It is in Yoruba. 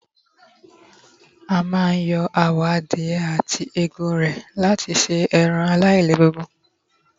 a ma n yo awọ adìye ati Egun rẹ lati se eran e lailegun